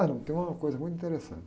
Ah, não, tem uma coisa muito interessante.